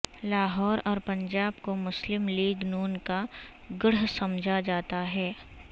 لاہور اور پنجاب کو مسلم لیگ نون کا گڑھ سمجھا جاتا ہے